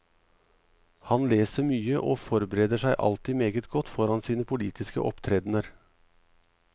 Han leser mye og forbereder seg alltid meget godt foran sine politiske opptredener.